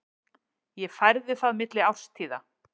Ég færði það milli árstíða.